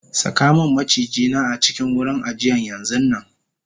sakamun maciji na a cikin wurin ajiyan yanxunnanm